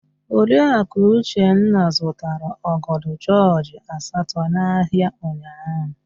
Oriaku Uchenna zụtara ọgọdọ jọọjị asatọ n'ahịa ụnyaahụ.